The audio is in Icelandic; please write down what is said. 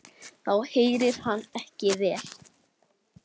Þá heyrir hann ekki vel.